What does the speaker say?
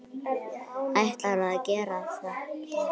Ætlarðu að gera þetta?